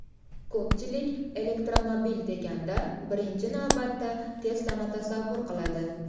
Ko‘pchilik elektromobil deganda birinchi navbatda Tesla’ni tasavvur qiladi.